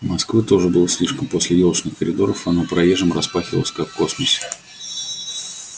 москвы тоже было слишком после ёлочных коридоров она приезжим распахивалась как космос